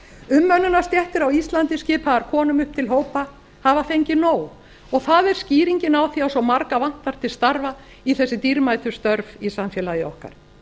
umönnunarstéttir á íslandi skipaðar konum upp til hópa hafa fengið nóg og það er skýringin á því að svo marga vantar til starfa í þessi dýrmætu störf í samfélagi okkar